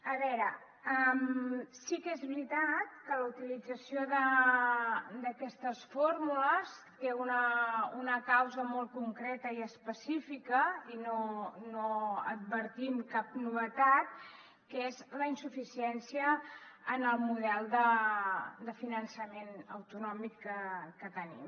a veure sí que és veritat que la utilització d’aquestes fórmules té una causa molt concreta i específica i no advertim cap novetat que és la insuficiència en el model de finançament autonòmic que tenim